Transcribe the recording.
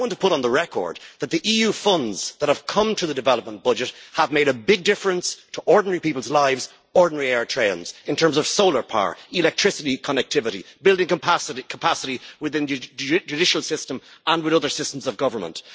I want to put on the record that the EU funds that have come through the development budget have made a big difference to the lives of ordinary people ordinary Eritreans in terms of solar power, electricity connectivity, building capacity within the judicial system and in other systems of government.